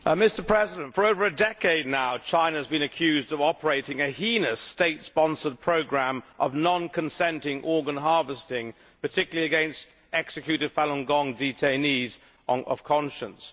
Mr President, for over a decade now China has been accused of operating a heinous state sponsored programme of non consenting organ harvesting, particularly against executed Falun Gong detainees of conscience.